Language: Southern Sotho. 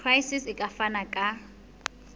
gcis e ka fana ka